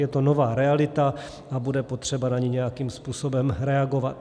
Je to nová realita a bude potřeba na ni nějakým způsobem reagovat.